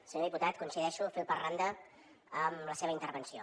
senyor diputat coincideixo fil per randa amb la seva intervenció